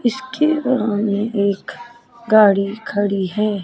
इसके बराव में एक गाड़ी खड़ी है।